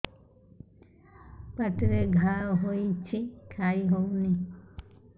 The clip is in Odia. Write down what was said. ପାଟିରେ ଘା ହେଇଛି ଖାଇ ହଉନି